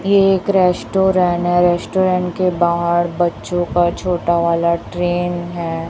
ये एक रेस्टोरेंट है रेस्टोरेंट के बाहर बच्चों का छोटा वाला ट्रेन है।